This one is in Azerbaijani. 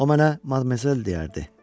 O mənə madmazel deyərdi.